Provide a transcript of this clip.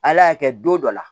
Ala y'a kɛ don dɔ la